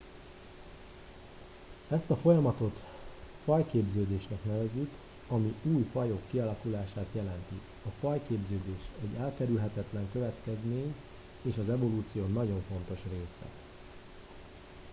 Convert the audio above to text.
ezt a folyamatot fajképződésnek nevezzük ami új fajok kialakulását jelenti a fajképződés egy elkerülhetetlen következmény és az evolúció nagyon fontos része